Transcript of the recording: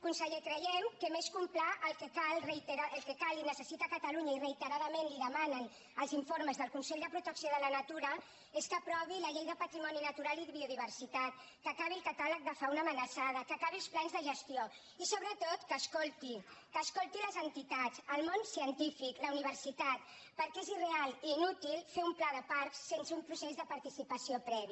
conseller creiem que més que un pla el que cal i necessita catalunya i reiteradament li demanen els informes del consell de protecció de la natura és que aprovi la llei de patrimoni natural i biodiversitat que acabi el catàleg de fauna amenaçada que acabi els plans de gestió i sobretot que escolti que escolti les entitats el món cien tífic la universitat perquè és irreal i inútil fer un pla de parcs sense un procés de participació previ